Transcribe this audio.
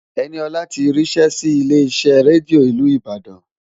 Ẹniọlá ti ríṣẹ́ sí ilé iṣẹ́ rédíò ìlú Ìbàdàn